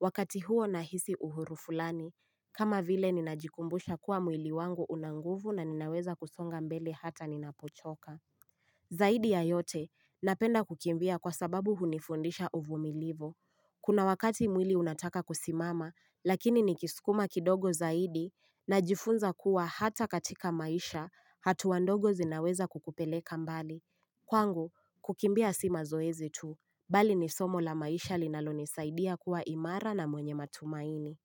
Wakati huo nahisi uhuru fulani, kama vile ninajikumbusha kuwa mwili wangu una nguvu na ninaweza kusonga mbele hata ninapochoka. Zaidi ya yote, napenda kukimbia kwa sababu hunifundisha uvumilivu. Kuna wakati mwili unataka kusimama lakini nikiskuma kidogo zaidi najifunza kuwa hata katika maisha hatua ndogo zinaweza kukupeleka mbali. Kwangu, kukimbia si mazoezi tu, bali ni somo la maisha linalonisaidia kuwa imara na mwenye matumaini.